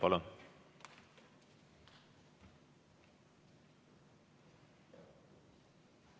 Palun!